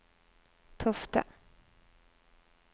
Tofte